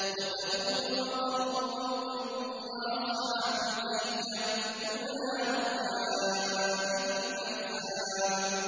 وَثَمُودُ وَقَوْمُ لُوطٍ وَأَصْحَابُ الْأَيْكَةِ ۚ أُولَٰئِكَ الْأَحْزَابُ